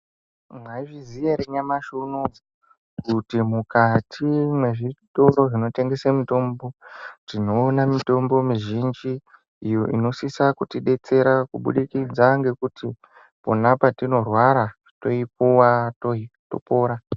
Mwaizviziya ere nyamashi uno kuti mukati mwezvitoro zvinotengesa mitombo, tinoone mitombo mizhinji iyo inosisa kutidetsera kubudikidza ngekuti pona patinorwara toipuwa topora.